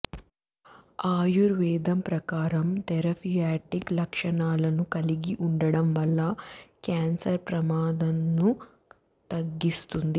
ఆయుర్వేదం ప్రకారం థెరఫియాటిక్ లక్షణాలను కలిగి ఉండటం వల్ల క్యాన్సర్ ప్రమాదంను తగ్గిస్తుంది